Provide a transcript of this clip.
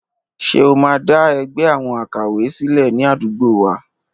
Ṣé o máa dá ẹgbẹ́ àwọn àkàwé sílẹ̀ ní àdúgbò wa?